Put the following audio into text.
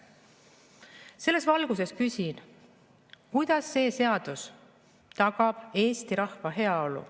" Selles valguses küsin, kuidas see seadus tagab eesti rahva heaolu.